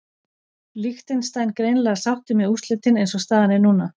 Liechtenstein greinilega sáttir með úrslitin eins og staðan er núna.